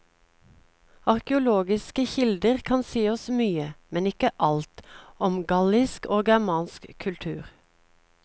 Arkeologiske kilder kan si oss mye, men ikke alt, om gallisk og germansk kultur.